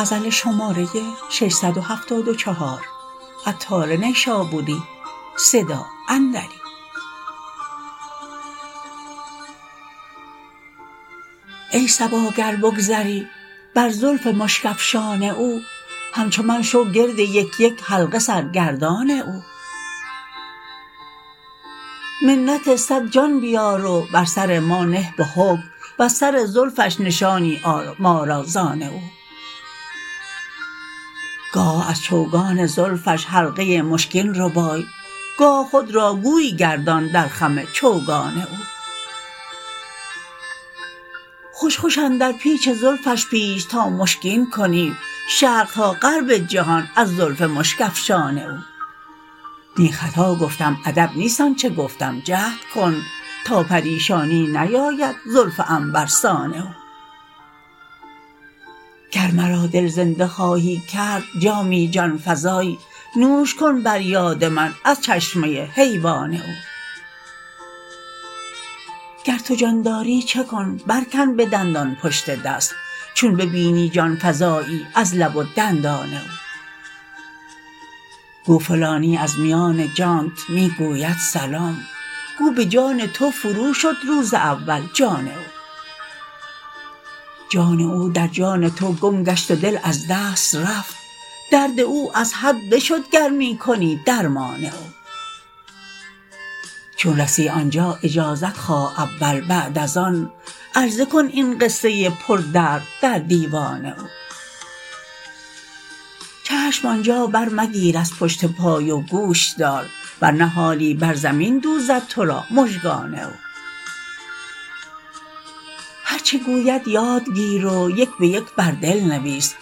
ای صبا گر بگذری بر زلف مشک افشان او همچو من شو گرد یک یک حلقه سرگردان او منت صد جان بیار و بر سر ما نه به حکم وز سر زلفش نشانی آر ما را زان او گاه از چوگان زلفش حلقه مشکین ربای گاه خود را گوی گردان در خم چوگان او خوش خوش اندر پیچ زلفش پیچ تا مشکین کنی شرق تا غرب جهان از زلف مشک افشان او نی خطا گفتم ادب نیست آنچه گفتم جهد کن تا پریشانی نیاید زلف عنبرسان او گر مرا دل زنده خواهی کرد جامی جانفزای نوش کن بر یاد من از چشمه حیوان او گر تو جان داری چه کن بر کن به دندان پشت دست چون ببینی جانفزایی لب و دندان او گو فلانی از میان جانت می گوید سلام گو به جان تو فرو شد روز اول جان او جان او در جان تو گم گشت و دل از دست رفت درد او از حد بشد گر می کنی درمان او چون رسی آنجا اجازت خواه اول بعد از آن عرضه کن این قصه پر درد در دیوان او چشم آنجا بر مگیر از پشت پای و گوش دار ورنه حالی بر زمین دوزد تو را مژگان او هرچه گوید یادگیر و یک به یک بر دل نویس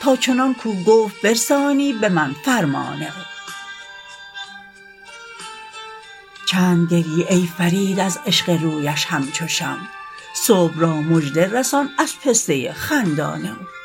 تا چنان کو گفت برسانی به من فرمان او چند گریی ای فرید از عشق رویش همچو شمع صبح را مژده رسان از پسته خندان او